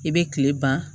I bɛ kile ban